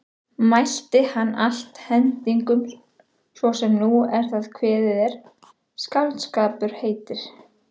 Mælti hann allt hendingum svo sem nú er það kveðið er skáldskapur heitir.